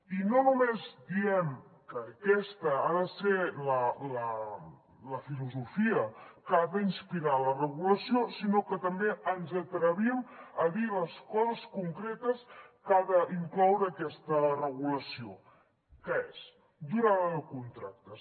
i no només diem que aquesta ha de ser la filosofia que ha d’inspirar la regulació sinó que també ens atrevim a dir les coses concretes que ha d’incloure aquesta regulació que és durada de contractes